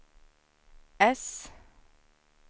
äss